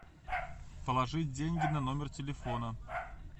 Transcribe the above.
положить деньги на номер телефона